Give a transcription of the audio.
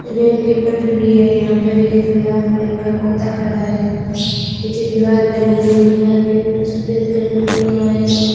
Rail की पटरी है यहां पर एक लाल कलर का कुत्ता खड़ा है पीछे दीवार बनी हुई है दीवार के ऊपर सफेद कलर किया हुआ है।